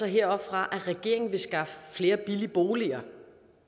heroppefra at regeringen vil skaffe flere billige boliger